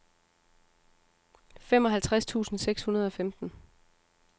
femoghalvtreds tusind seks hundrede og femten